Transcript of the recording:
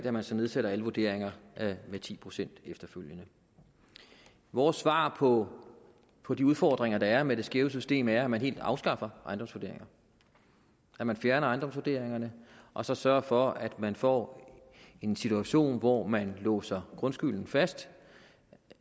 at man så nedsætter alle vurderinger med ti procent efterfølgende vores svar på på de udfordringer der er med det skæve system er at man helt afskaffer ejendomsvurderinger at man fjerner ejendomsvurderingerne og så sørger for at man får en situation hvor man låser grundskylden fast